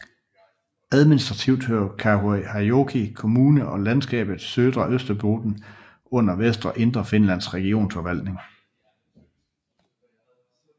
Administrativt hører Kauhajoki kommune og landskabet Södra Österbotten under Vest og Indre Finlands regionsforvaltning